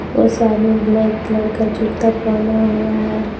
और सामने black colour का जूता पहना हुआ है।